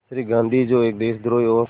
श्री गांधी जो एक देशद्रोही और